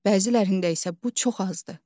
Bəzilərində isə bu çox azdır.